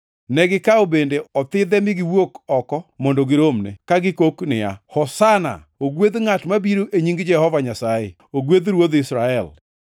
Negikawo bede othidhe mi giwuok oko mondo giromne, ka gikok niya, “Hosana!” “Ogwedh ngʼat mabiro e nying Jehova Nyasaye!” + 12:13 \+xt Zab 118:25,26\+xt* “Ogwedh Ruodh Israel!”